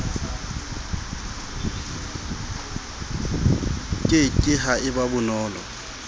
ke ke ha eba bonolo